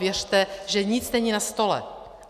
Věřte, že nic není na stole.